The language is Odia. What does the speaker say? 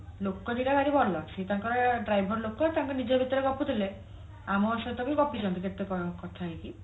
ଲୋକ ଦିଟା ଭାରି ଭଲ ସେ ତାଙ୍କର driver ଲୋକ ତାଙ୍କ ନିଜ ଭିତରେ ଗପୁଥିଲେ ଆମ ସହିତ ବି ଗପିଛନ୍ତି କେତେ କଣ କଥା ହେଇକି